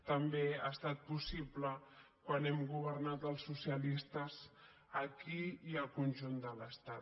tam·bé ha estat possible quan hem governat els socialistes aquí i al conjunt de l’estat